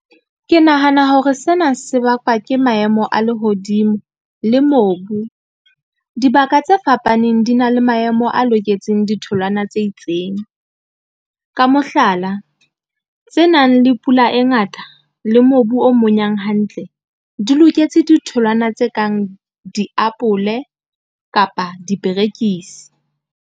Ke nahana hore sena se bakwa ke maemo a lehodimo le mobu. Dibaka tse fapaneng di na le maemo a loketseng ditholwana tse itseng. Ka moo mohlala, tse nang le pula e ngata le mobu o monyang hantle, di loketse ditholwana tse kang diapole kapa diperekisi.